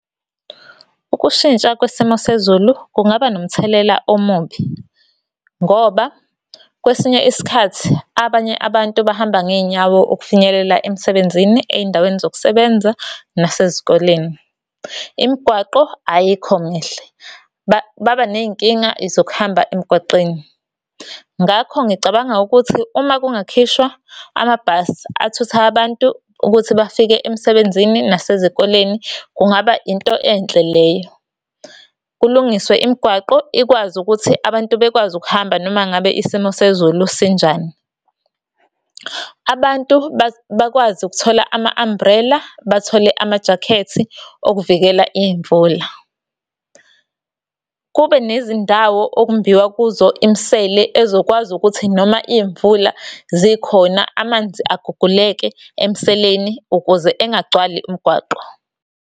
Ukushintsha kwesimo sezulu kungaba nomthelela omubi, ngoba kwesinye isikhathi abanye abantu bahamba ngey'nyawo ukufinyelela emsebenzini ey'ndaweni zokusebenza nasezikoleni. Imigwaqo ayikho mihle baba ney'nkinga zokuhamba emgwaqeni. Ngakho ngicabanga ukuthi uma kungakhishwa amabhasi athutha abantu ukuthi bafike emsebenzini nasezikoleni kungaba into enhle leyo. Kulungiswe imigwaqo ikwazi ukuthi abantu bekwazi ukuhamba noma ngabe isimo sezulu sinjani. Abantu bakwazi ukuthola ama-umbrella bathole amajakhethi okuvikela iy'mvula. Kube nezindawo okumbiwa kuzo imisele ezokwazi ukuthi noma iy'mvula zikhona amanzi aguguleke emseleni ukuze engagcwali umgwaqo.